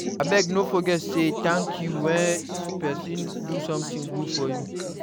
Abeg, no forget to say thank you when person do something good for you